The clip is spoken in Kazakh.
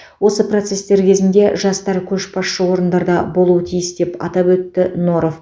осы процестер кезінде жастар көшбасшы орындарда болуы тиіс деп атап өтті норов